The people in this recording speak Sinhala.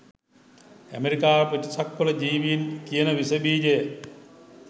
ඇමරිකාව පිටසක්වල ජීවීන් කියන විසබීජෙ